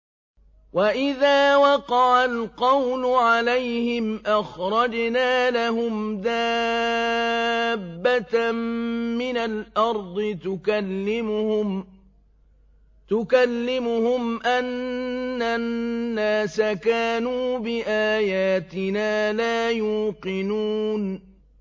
۞ وَإِذَا وَقَعَ الْقَوْلُ عَلَيْهِمْ أَخْرَجْنَا لَهُمْ دَابَّةً مِّنَ الْأَرْضِ تُكَلِّمُهُمْ أَنَّ النَّاسَ كَانُوا بِآيَاتِنَا لَا يُوقِنُونَ